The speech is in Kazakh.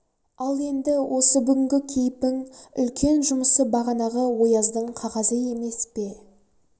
ал енді осы бүгінгі кейіпің үлкен жұмысы бағанағы ояздың қағазы емес пе